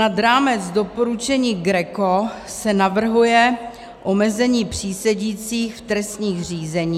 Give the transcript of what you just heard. Nad rámec doporučení GRECO se navrhuje omezení přísedících v trestním řízení.